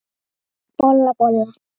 Bolla, bolla!